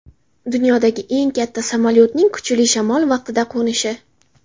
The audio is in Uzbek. Dunyodagi eng katta samolyotning kuchli shamol vaqtida qo‘nishi.